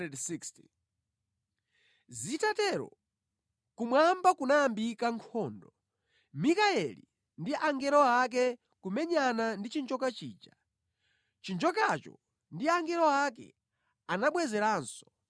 Zitatero, kumwamba kunayambika nkhondo. Mikayeli ndi angelo ake kumenyana ndi chinjoka chija. Chinjokacho ndi angelo ake anabwezeranso.